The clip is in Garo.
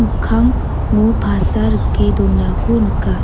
mikkango pasa rike donako nika.